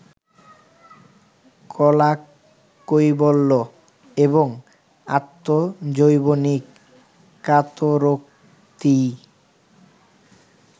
কলাকৈবল্য এবং আত্মজৈবনিক কাতরোক্তিই